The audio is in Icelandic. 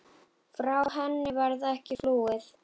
Frá henni varð ekki flúið.